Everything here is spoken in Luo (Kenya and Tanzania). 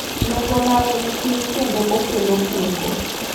Neng'o mare ni piny kendo okelo kung'o.